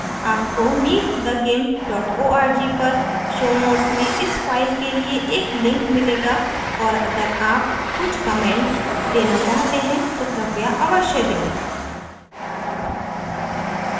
आपको meetthegimp org पर show notes में इस फ़ाइल के लिए एक link मिलेगा और अगर आप कुछ comment देना चाहते हैं तो कृपया अवश्य दें